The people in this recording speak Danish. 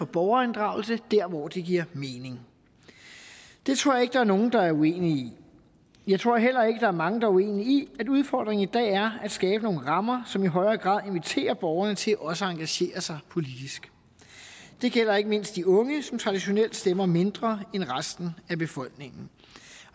borgerinddragelse dér hvor det giver mening det tror jeg ikke der er nogen der er uenig i jeg tror heller ikke der er mange der er uenige i at udfordringen i dag er at skabe nogle rammer som i højere grad inviterer borgerne til også at engagere sig politisk det gælder ikke mindst de unge som traditionelt stemmer mindre end resten af befolkningen